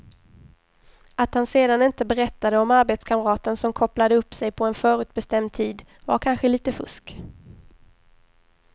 Att han sedan inte berättade om arbetskamraten som kopplade upp sig på en förutbestämd tid var kanske lite fusk.